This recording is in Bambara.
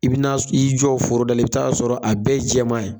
I bi na s i jɔ foroda la i be ta'a sɔrɔ a bɛɛ ye jɛmaa ye